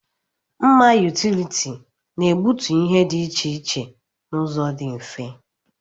Mma yutility na-egbutu ihe dị iche iche n'ụzọ dị mfe.